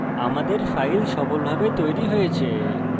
আমাদের file সফলভাবে তৈরি হয়েছে